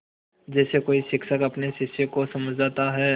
जैसे कोई शिक्षक अपने शिष्य को समझाता है